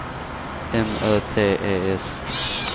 M Ö T E S